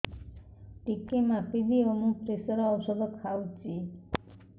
ଟିକେ ମାପିଦିଅ ମୁଁ ପ୍ରେସର ଔଷଧ ଖାଉଚି